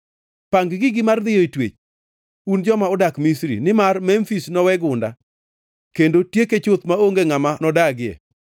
Pang gigi mar dhiyoe twech, un joma odak Misri, nimar Memfis nowe gunda, kendo tieke chuth maonge ngʼama nodagie.”